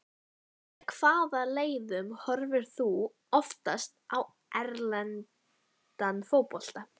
Með hvaða leiðum horfir þú oftast á erlendan fótbolta?